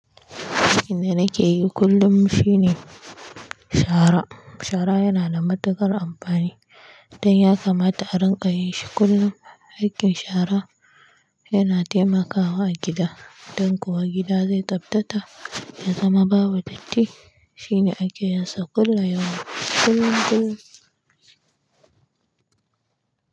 Aikin da nakeyi kullum shine shara, shara shara yana da matuƙar amfani don ya kamata a rinƙa yin shi kullum. Aikin shara yana taimakawa a gida don kuwa gida zai tsaftata ya zama babu datti. Shine ake yin sa kullu yaumin, kullum kullum.